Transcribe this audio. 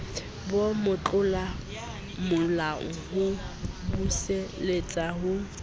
ba motlolamolao ho buseletsa mo